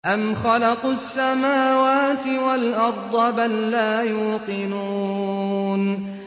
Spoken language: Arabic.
أَمْ خَلَقُوا السَّمَاوَاتِ وَالْأَرْضَ ۚ بَل لَّا يُوقِنُونَ